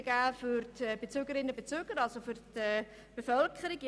Es kann für die Bevölkerung Verbesserungen geben.